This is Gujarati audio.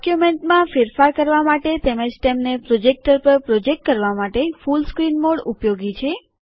ડોક્યુમેન્ટમાં ફેરફાર કરવા માટે તેમજ તેમને પ્રોજેક્ટર પર પ્રોજેક્ટ કરવા માટે ફૂલ સ્ક્રીન મોડ ઉપયોગી છે